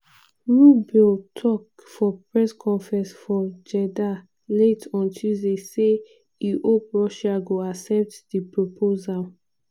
rubio tok for press conference for jeddah late on tuesday say e hope russia go accept di proposal.